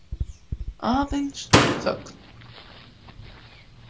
Aðeins þögn.